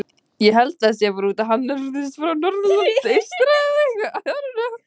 En af hverju greiðir hann skatta af þessari erlendu starfsemi til Norðurlands eystra?